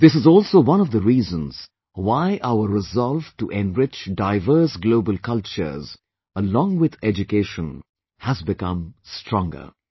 This is also one of the reasons why our resolve to enrich Diverse Global Cultures along with education has become stronger